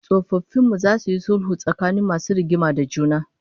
Tsofaffin mu zasu yi sulhu tsakanin masu rigima da juna